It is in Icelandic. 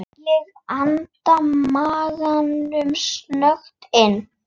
Ég anda maganum snöggt inn.